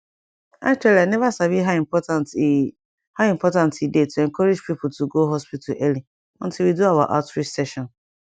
actually i never sabi how important e how important e dey to encourage people to go hospital early until we do our outreach session